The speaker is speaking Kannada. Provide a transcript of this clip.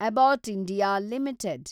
Abbott India limited